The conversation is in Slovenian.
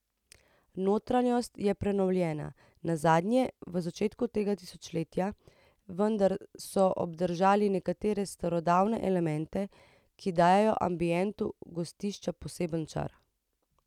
Notranjost je prenovljena, nazadnje v začetku tega tisočletja, vendar so obdržali nekatere starodobne elemente, ki dajo ambientu gostišča poseben čar.